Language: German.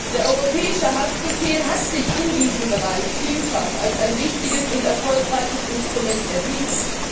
Der europäische Haftbefehl hat sich in diesem Bereich vielfach als ein wichtiges und erfolgreiches Instrument erwiesen.